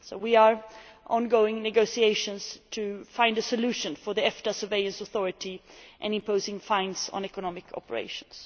So we are in ongoing negotiations to find a solution for the EFTA Surveillance Authority and imposing fines on economic operations.